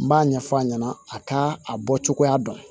N b'a ɲɛfɔ a ɲɛna a ka a bɔ cogoya dɔn